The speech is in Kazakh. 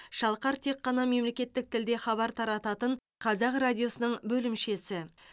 шалқар тек қана мемлекеттік тілде хабар тарататын қазақ радиосының бөлімшесі